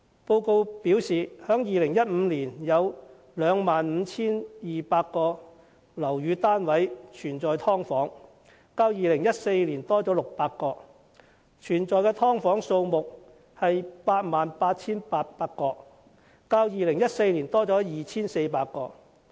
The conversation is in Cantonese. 報告指出，在2015年有 25,200 個屋宇單位有"劏房"，較2014年多600個，而"劏房"則有 88,800 個，較2014年多 2,400 個。